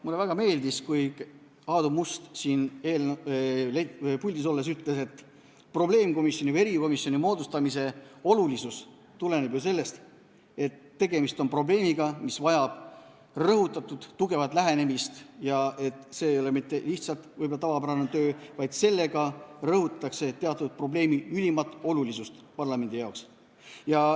Mulle väga meeldis, kui Aadu Must siin puldis olles ütles, et probleemkomisjoni või erikomisjoni moodustamise olulisus tuleneb ju sellest, et tegemist on probleemiga, mis vajab rõhutatud, tugevat lähenemist, see ei ole mitte lihtsalt võib-olla tavapärane töö, vaid sellega rõhutatakse teatud probleemi ülimat olulisust parlamendi jaoks.